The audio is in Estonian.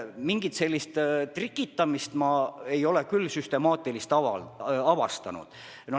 Mingit süstemaatilist trikitamist ma ei ole küll avastanud.